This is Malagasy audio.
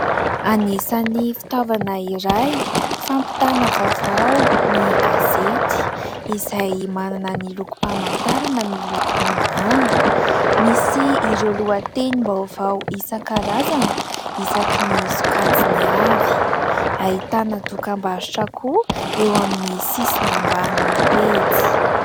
Anisany fitaovana iray fampitana vaovao ny gazety izay manana ny lokom-pamantarana miloko manga. Misy ireo lohatenim-baovao isan-karazany isaky ny sokajiny avy. Ahitana dokam-barotra koa eo amin'ny sisiny ambanin'ny pejy.